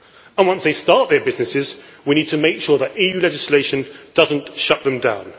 And once they start their businesses, we need to make sure that EU legislation does not shut them down.